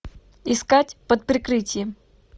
искать под прикрытием